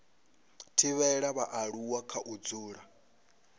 thivhela vhaaluwa kha u dzula